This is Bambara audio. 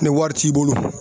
Ni wari t'i bolo